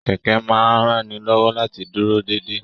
Kẹkẹ máa n ránilọ́wọ́ láti dúró déédé.